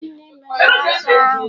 Gịnị mere azụ ahụ?